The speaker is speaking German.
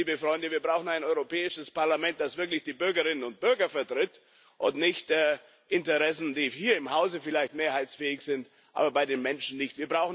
Und drittens, liebe Freunde Wir brauchen ein Europäisches Parlament, das wirklich die Bürgerinnen und Bürger vertritt und nicht Interessen, die hier im Hause vielleicht mehrheitsfähig sind, aber bei den Menschen nicht.